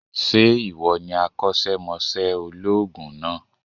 Sé ìwọ ni akósémosé olóòògùn náà